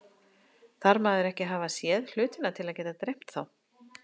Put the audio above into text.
Þarf maður ekki að hafa séð hlutina til að geta dreymt þá?